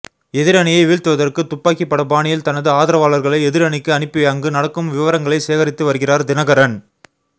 எதிரணியை வீழ்த்துவதற்கு துப்பாக்கி பட பாணியில் தனது ஆதரவாளர்களை எதிரணிக்கு அனுப்பி அங்கு நடக்கும் விவரங்களை சேகரித்து வருகிறார் தினகரன்